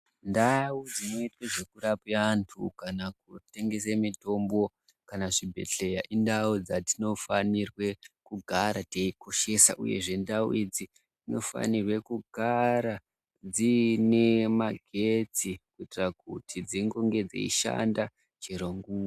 Ndau dzinoitwe zvekurape antu kana kutengese mitombo kana zvibhedhleya indau dzatinofanirwe kugara teikoshesa uyezve ndau idzi dzinofanire kugara dziine magetsi kuitira kuti dzingonge dzeishanda chero nguwa.